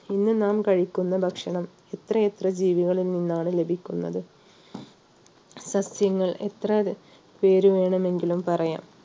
ഇന്ന് നാം കഴിക്കുന്ന ഭക്ഷണം എത്രയെത്ര ജീവികളിൽ നിന്നാണ് ലഭിക്കുന്നത് സസ്യങ്ങൾ എത്ര പേര് വേണമെങ്കിലും പറയാം